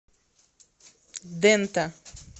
дэнта